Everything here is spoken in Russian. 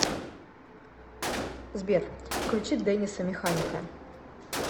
сбер включи дэниса механика